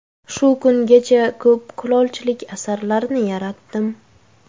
Shu kungacha ko‘p kulolchilik asarlarini yaratdim.